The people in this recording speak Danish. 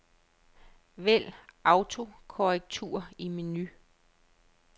Vælg autokorrektur i menu.